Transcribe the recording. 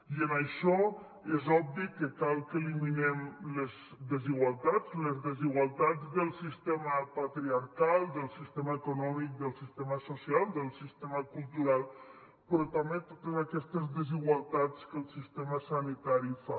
i en això és obvi que cal que eliminem les desigualtats les desigualtats del sistema patriarcal del sistema econòmic del sistema social del sistema cultural però també totes aquestes desigualtats que el sistema sanitari fa